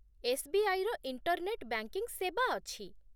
ଏସ୍.ବି.ଆଇ.ର internet banking ସେବା ଅଛି।